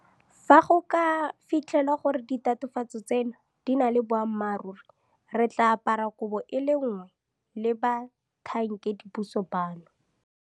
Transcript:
Fa go ka fitlhelwa gore ditatofatso tseno di na le boammaruri, re tla apara koobo e le nngwe le batlhankedipuso bano.